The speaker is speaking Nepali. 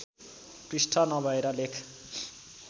पृष्ठ नभएर लेख